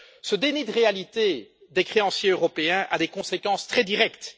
Ce déni de réalité des créanciers européens a des conséquences très directes.